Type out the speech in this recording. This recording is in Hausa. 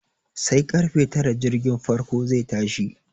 Sai karfe tara jirgin farko zai tashi.